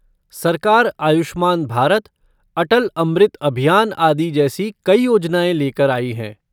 सरकार आयुष्मान भारत, अटल अमृत अभियान आदि जैसी कई योजनाएँ लेकर आई है।